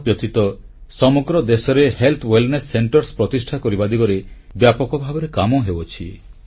ଏହାବ୍ୟତୀତ ସମଗ୍ର ଦେଶରେ ସ୍ୱାସ୍ଥ୍ୟ କଲ୍ୟାଣ କେନ୍ଦ୍ର ପ୍ରତିଷ୍ଠା କରିବା ଦିଗରେ ବ୍ୟାପକ ଭାବରେ କାମ ହେଉଅଛି